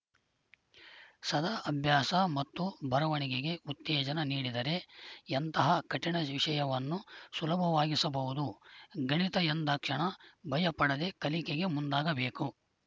ಸದಾ ಅಭ್ಯಾಸ ಮತ್ತು ಬರವಣಿಗೆಗೆ ಉತ್ತೇಜನ ನೀಡಿದರೆ ಎಂತಹ ಕಠಿಣ ವಿಷಯವನ್ನೂ ಸುಲಭವಾಗಿಸಬಹುದು ಗಣಿತ ಎಂದಾಕ್ಷಣ ಭಯ ಪಡದೆ ಕಲಿಕೆಗೆ ಮುಂದಾಗಬೇಕು